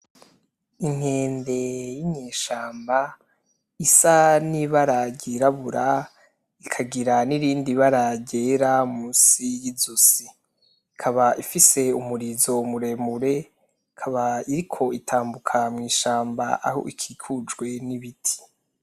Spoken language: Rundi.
Inkende yinyeshamba, isa n' ibara ryirabura ikagira nirindi bara ryera musi y'izosi. Ikaba ifise umurizo muremure , ikaba iriko itambuka mw'ishamba aho ikikujwe n' ibiti.